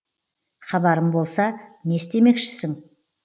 хабарым болса не істемекшісің